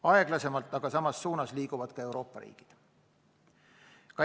Aeglasemalt, aga samas suunas liiguvad ka Euroopa riigid.